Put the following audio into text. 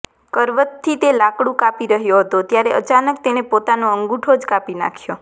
કરવતથી તે લાકડું કાપી રહ્યો હતો ત્યારે અચાનક તેણે પોતાનો અંગૂઠો જ કાપી નાખ્યો